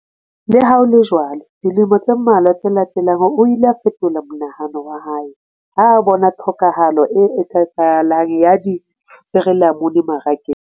Le ha ho le jwalo, dilemo tse mmalwa tse latelang, o ile a fetola monahano wa hae ha a bona tlhokahalo e eketsehang ya disirilamunu marakeng.